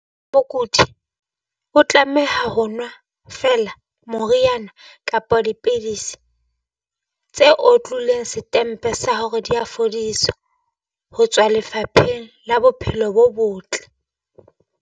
Mokudi o tlameha ho nwa feela moriana kapa dipidisi tse otlilweng setempe sa hore di a fodisa ho tswa Lefapheng la Bophelo bo Botle.